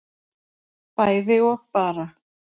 bæði og bara